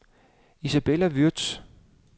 Isabella Würtz